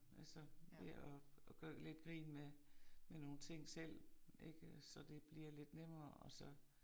Altså ved at at gøre lidt grin med med nogle ting selv ikke så det bliver lidt nemmere og så